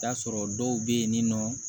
Taa sɔrɔ dɔw bɛ yen ni nɔ